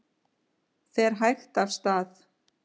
Fer hægt af stað